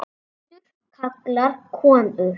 Aldur karlar konur